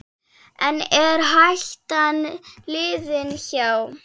En er hættan liðin hjá?